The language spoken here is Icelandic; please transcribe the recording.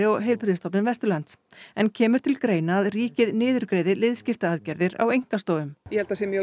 og Heilbrigðisstofnun Vesturlands en kemur til greina að ríkið niðurgreiði liðskiptaaðgerðir á einkastofum ég held að það sé mjög